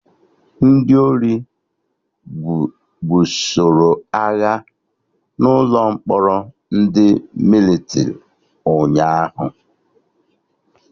Ndị ori gbusoroagha n'ụlọ mkpọrọ ndị Mịlịtrị ụnyaahụ